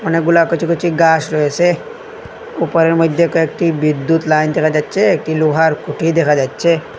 অনেকগুলা কচি কচি গাস রয়েসে উপরের মইধ্যে কয়েকটি বিদ্যুৎ লাইন দেখা যাচ্ছে একটি লোহার খুঁটি দেখা যাচ্ছে।